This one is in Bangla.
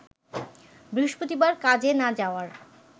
বৃহস্পতিবার কাজে না যাওয়ার